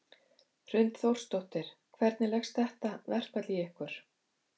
Hrund Þórsdóttir: Hvernig leggst þetta verkfall í ykkur?